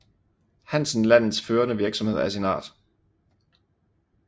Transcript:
Hansen landets førende virksomhed af sin art